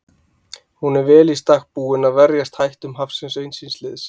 Hún er vel í stakk búin að verjast hættum hafsins eins síns liðs.